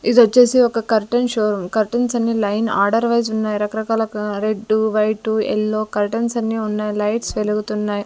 ఇదొచ్చేసి ఒక curtain showroom curtains అన్ని line order wise ఉన్నాయ్ రకరకాల రెడ్డు వైటు ఎల్లో కర్టెన్స్ అన్నీ ఉన్నాయ్ లైట్స్ వెలుగుతున్నాయ్.